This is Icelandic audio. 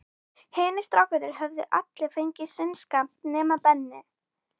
Hinir strákarnir höfðu allir fengið sinn skammt, nema Benni.